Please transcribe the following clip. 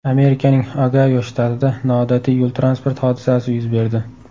Amerikaning Ogayo shtatida noodatiy yo‘l-transport hodisasi yuz berdi.